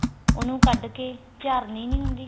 ਉਹਨੂੰ ਕੱਡ ਕੇ ਚਾਰਣੀ ਨੀ ਹੁੰਦੀ